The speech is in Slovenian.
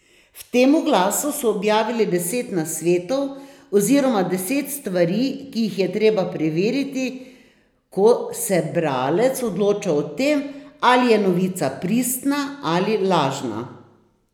V tem oglasu so objavili deset nasvetov oziroma deset stvari, ki jih je treba preveriti, ko se bralec odloča o tem, ali je novica pristna ali lažna.